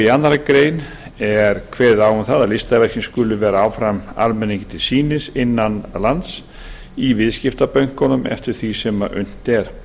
í annarri grein er kveðið á um það að listaverkin skulu vera áfram almenningi til sýnis innan lands í viðskiptabönkunum eftir því sem unnt er